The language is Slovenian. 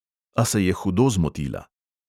A se je hudo zmotila.